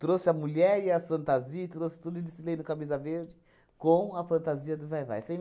Trouxe a mulher e as fantasia, e trouxe tudo e desfilei no Camisa Verde com a fantasia do Vai-Vai. Você